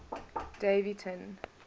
daveyton